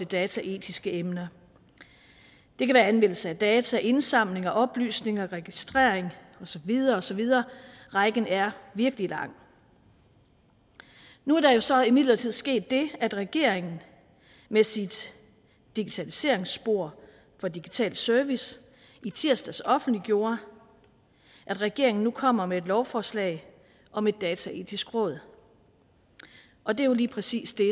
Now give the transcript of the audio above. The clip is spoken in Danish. dataetiske emner det kan være anvendelse af data indsamling af oplysninger registrering og så videre og så videre rækken er virkelig lang nu er der jo så imidlertid sket det at regeringen med sit digitaliseringsspor for digital service i tirsdags offentliggjorde at regeringen nu kommer med et lovforslag om et dataetisk råd og det er jo lige præcis det